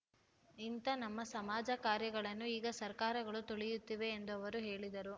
ಇಂಥ ನಮ್ಮ ಸಮಾಜ ಕಾರ್ಯಗಳನ್ನು ಈಗ ಸರ್ಕಾರಗಳು ತುಳಿಯುತ್ತಿವೆ ಎಂದವರು ಹೇಳಿದರು